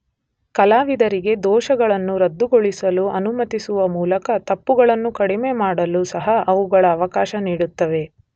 ಕಲಾವಿದರಿಗೆ ದೋಷಗಳನ್ನು ರದ್ದುಗೊಳಿಸಲು ಅನುಮತಿಸುವ ಮೂಲಕ ತಪ್ಪುಗಳನ್ನು ಕಡಿಮೆ ಮಾಡಲು ಸಹ ಅವುಗಳು ಅವಕಾಶ ನೀಡುತ್ತವೆ.